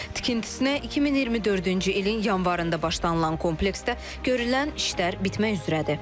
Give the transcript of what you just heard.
Tikintisinə 2024-cü ilin yanvarında başlanılan kompleksdə görülən işlər bitmək üzrədir.